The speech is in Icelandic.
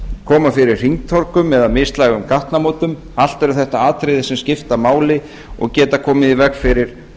koma fyrir hringtorgum eða mislægum gatnamótum allt eru þetta atriði sem skipta máli og geta komið í veg fyrir